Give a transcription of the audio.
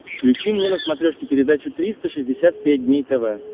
включи мне на смотрешке передачу триста шестьдесят пять дней тв